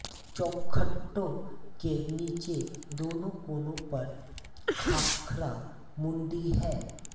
चौखटों के नीचे दोनों कोनों पर खाखरा मुंडी है